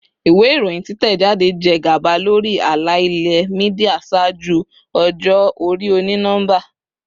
Iwe iroyin titẹjade jẹ gaba lori ala-ilẹ media ṣaaju ọjọ-ori oni-nọmba.